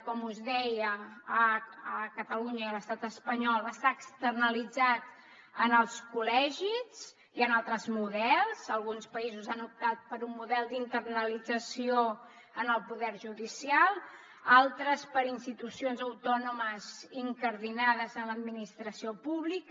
com us deia a catalunya i l’estat espanyol està externalitzat en els col·legis i en altres models alguns països han optat per un model d’internalització en el poder judicial altres per institucions autònomes incardinades en l’administració pública